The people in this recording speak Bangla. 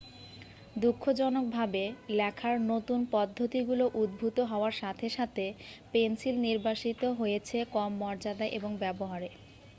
দুঃখজনকভাবে লেখার নতুন পদ্ধতিগুলো উদ্ভূত হওয়ার সাথে সাথে পেন্সিল নির্বাসিত হয়েছে কম মর্যাদা এবং ব্যবহারে